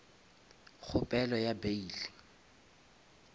kgopelo ya bail